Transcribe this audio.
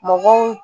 Mɔgɔw